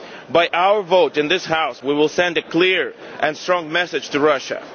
wars. By our vote in this House we will send a clear and strong message to